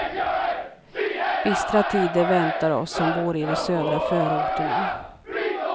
Bistra tider väntar oss som bor i de södra förorterna.